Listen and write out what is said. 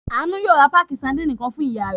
Àánú yóò ra páákì sadínì kan fún ìyá rẹ̀.